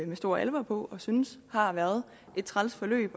med stor alvor på og synes har været et træls forløb